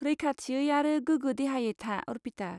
रैखाथियै आरो गोगो देहायै था, अर्पिता।